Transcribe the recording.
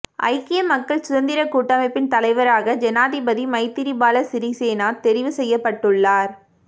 ஐக்கிய மக்கள் சுதந்திரக் கூட்டமைப்பின் தலைவராக ஜனாதிபதி மைத்திரிபால சிறிசேன தெரிவு செய்யப்பட்டுள்ளார்